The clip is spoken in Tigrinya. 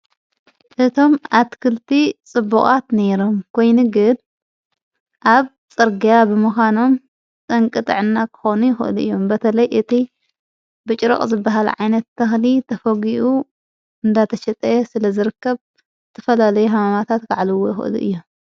እቶም ኣትክልቲ ጽቡቓት ነይሮም ጐይንግን ኣብ ጸርጋያ ብምዃኖም ጠንቅ ጥዕና ክኾኑ ሁእሉ እዮም በተለይ እቲ ብጭረቕ ዘብሃል ዓይነት እተህሊ ተፈጕኡ እንዳተሸጠየ ስለ ዘርከብ ትፈላለይ ሓማማታት ከዕልዎ ይኽእሉ እዮም።